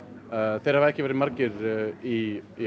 þeir hafa ekki verið margir í